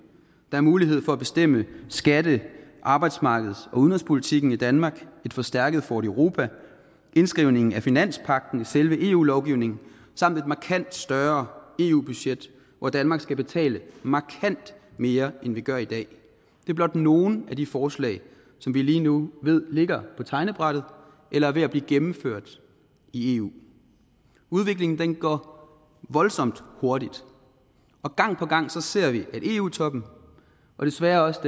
der er mulighed for at bestemme skatte arbejdsmarkeds og udenrigspolitikken i danmark et forstærket fort europa indskrivning af finanspagten i selve eu lovgivningen samt et markant større eu budget hvor danmark skal betale markant mere end vi gør i dag det er blot nogle af de forslag som vi lige nu ved ligger på tegnebrættet eller er ved at blive gennemført i eu udviklingen går voldsomt hurtigt og gang på gang ser vi at eu toppen og desværre også